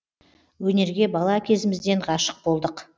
өнерге бала кезімізден ғашық болдық